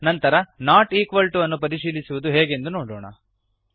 ನಂತರ not equal to ವನ್ನು ಪರಿಶೀಲಿಸುವುದು ಹೇಗೆಂದು ನೋಡೋಣ